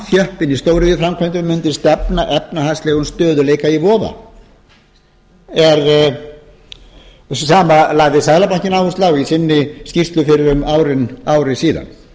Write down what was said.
samþjöppun í stóriðjuframkvæmdum mundi stefna efnahagslegum stöðugleika í voða þetta sama lagði seðlabankinn áherslu á í sinni skýrslu fyrir ári síðan